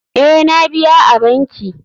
Ee, na biya a banki.